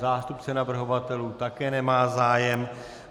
Zástupce navrhovatelů také nemá zájem.